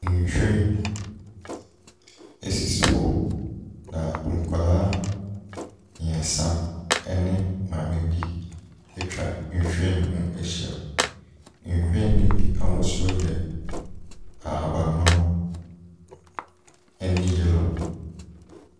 Nhwiren sisi hɔ, na nkwadaa mmeɛnsa ne maame bi atwa nhwiren no ho ahyia. Nhwiren no bi ahosuo yɛ ahaban mono ne yellow.